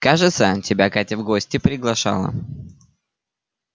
кажется тебя катя в гости приглашала